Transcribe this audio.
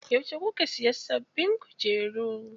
Yauce kuka siya sababbin kujeru?